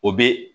O bɛ